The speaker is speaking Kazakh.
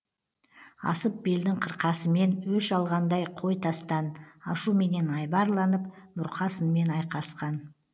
асып белдің қырқасымен өш алғандай қой тастан ашуменен айбарланып бұрқасынмен айқасқан